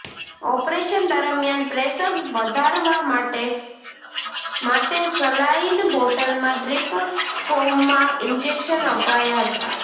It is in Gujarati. ઓપરેશન દરમિયાન પ્રેશર વધારવવા માટે માટે સલાઈન બોટલમાં ડ્રીપ ફોર્મમાં ઇંજેક્શન અપાયા હતા